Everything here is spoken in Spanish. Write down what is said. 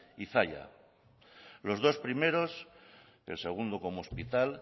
y zalla los dos primeros el segundo como hospital